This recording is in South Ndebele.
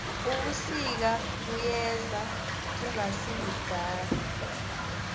ubusika buyeza kungasikudala